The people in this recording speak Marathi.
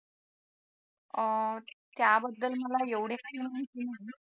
त्याबद्दल मला एवढी काही माहिती नाही